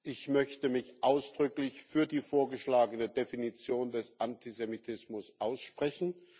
Ich möchte mich ausdrücklich für die vorgeschlagene Definition des Antisemitismus aussprechen.